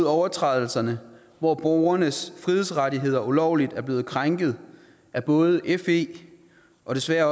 overtrædelserne hvor borgernes frihedsrettigheder ulovligt er blevet krænket af både fe og desværre